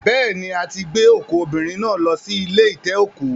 Beeni a ti gbe oku obinrin na lo si ile ite-oku